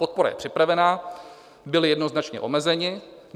Podpora je připravena, byli jednoznačně omezeni.